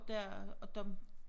Der og dem